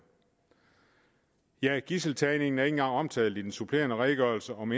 ja gidseltagningen er ikke engang omtalt i den supplerende redegørelse om